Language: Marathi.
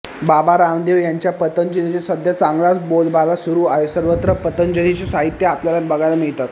बाबा रामदेव यांच्या पतंजलीचे सध्या चांगलाच बोलबाला सुरु आहे सर्वत्र पतंजलीचे साहित्य आपल्याला बघायला मिळतात